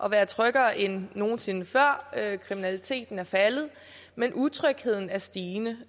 at være tryggere end nogen sinde før kriminaliteten er faldet men utrygheden er stigende